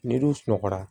N'i dun sunɔgɔra